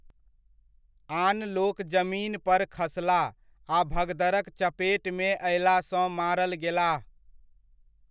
आन लोक जमीन पर खसला आ भगदड़क चपेटमे अयलासँ मारल गेलाह।